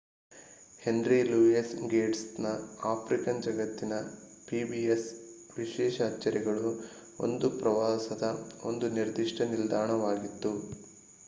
henry Louis ಗೇಟ್ಸ್‌ನ African ಜಗತ್ತಿನ pbs ವಿಶೇಷ ಅಚ್ಚರಿಗಳು ಪ್ರವಾಸದ ಒಂದು ಪ್ರಮುಖ ನಿಲ್ದಾಣವಾಗಿತ್ತು